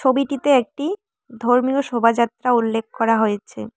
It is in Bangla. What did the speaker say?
ছবিটিতে একটি ধর্মীয় শোভাযাত্রা উল্লেখ করা হয়েছে।